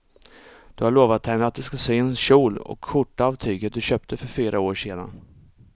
Du har lovat henne att du ska sy en kjol och skjorta av tyget du köpte för fyra år sedan.